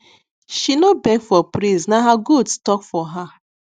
she no beg for praise na her goats talk for her